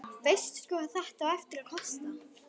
Veistu hvað þetta á eftir að kosta?